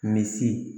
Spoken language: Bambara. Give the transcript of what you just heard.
Misi